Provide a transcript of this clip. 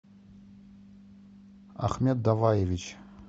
ахмед даваевич